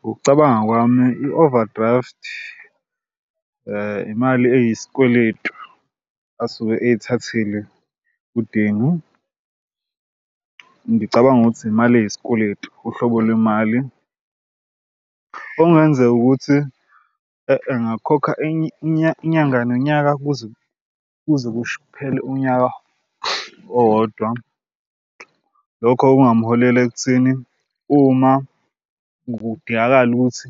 Ngokucabanga kwami i-overdraft imali eyisikweletu asuke eyithathile uDanny. Ngicabanga ukuthi imali eyisikweletu uhlobo lwemali okungenzeka ukuthi engakhokha inyanga nonyaka kuze kuze kuphele unyaka owodwa. Lokho kungamholela ekutheni uma kudingakala ukuthi